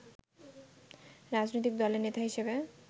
রাজনৈতিক দলের নেতা হিসেবে